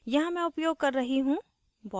यहाँ मैं उपयोग कर रही हूँ